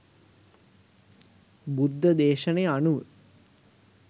බුද්ධ දේශනය අනුව